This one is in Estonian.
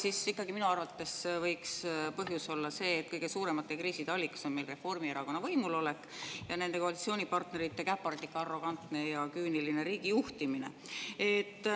Aga ikkagi, minu arvates võiks põhjus olla see, et kõige suuremate kriiside allikas on meil Reformierakonna võimulolek ja nende koalitsioonipartnerite käpardlik, arrogantne ja küüniline riigijuhtimine.